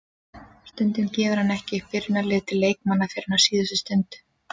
Stundum gefur hann ekki upp byrjunarliðið til leikmanna fyrr en á síðustu stundu.